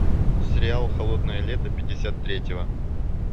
сериал холодное лето пятьдесят третьего